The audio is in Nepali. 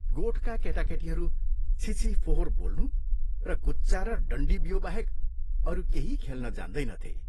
गोठका केटाकेटीहरू छिछि फोहोर बोल्नु र गुच्चा र डण्डीबियोबाहेक अरू केही खेल्न जान्दैनथे।